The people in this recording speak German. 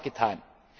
umsetzen. Mehrfach